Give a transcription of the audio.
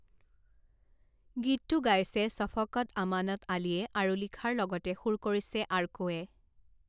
গীতটো গাইছে শ্বফকত আমানত আলীয়ে আৰু লিখাৰ লগতে সুৰ কৰিছে আৰ্কোৱে।